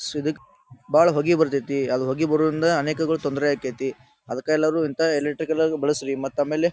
so ಇದಕ್ ಬಹಳ ಹೊಗಿ ಬರತೈತಿ ಆ ಹೊಗಿ ಬರೋದ್ರಿಂದ ಅನೇಕಗೋಳ ತೊಂದ್ರೆ ಅಕೈತಿ ಅದಕ್ಕ ಎಲ್ಲಾರು ಇಂಥ ಎಲೆಕ್ಟ್ರಿಕಲ್ ಗ ಬಳಸ್ರಿ ಮತ್ ಆಮೇಲೆ--